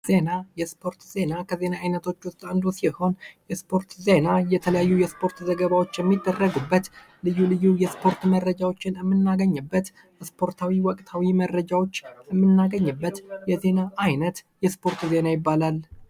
ዜና የስፖርት ዜና ከዜና አይነቶች ውስጥ አንዱ ሲሆን የስፖርት ዜና የተለያዩ የስፖርት ዜናዎች ዘገባዎችን ልዩ ልዩ የእስፖርት መረጃዎችን የምናገኝበት ስፖርታዊ ወቅታዊ መረጃዎች የምናገኝበት የዜና አይነት የስፖርት ዜና ይባላል።